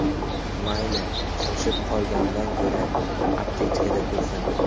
Mayli, shoshib qolgandan ko‘ra, aptechkada tursin!